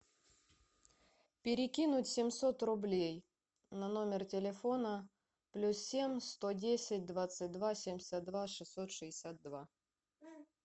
перекинуть семьсот рублей на номер телефона плюс семь сто десять двадцать два семьдесят два шестьсот шестьдесят два